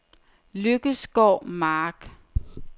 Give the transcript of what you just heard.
Lykkesgård Mark